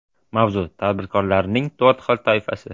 Mavzu: Tadbirkorlarning to‘rt xil toifasi.